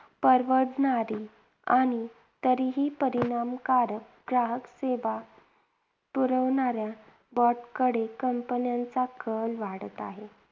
परवडणारी आणि तरीही परिणामकारक ग्राहकसेवा पुरवणाऱ्या BOT कडे companies चा कल वाढत आहे.